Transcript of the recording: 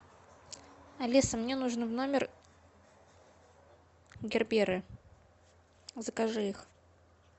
алиса мне нужно в номер герберы закажи их